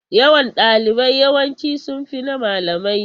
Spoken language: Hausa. Yawan ɗalibai yawanci sun fi na malamai.